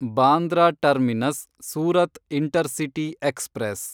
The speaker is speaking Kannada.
Bandra terminus Surat intercity express